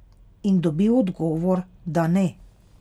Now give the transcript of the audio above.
In dobil odgovor, da ne.